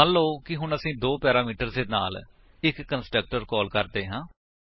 ਮੰਨਲੋ ਕਿ ਹੁਣ ਅਸੀ ਦੋ ਪੈਰਾਮੀਟਰਸ ਦੇ ਨਾਲ ਇੱਕ ਕੰਸਟਰਕਟਰ ਕਾਲ ਕਰਦੇ ਹਾਂ